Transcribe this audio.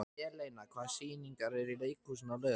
Eleina, hvaða sýningar eru í leikhúsinu á laugardaginn?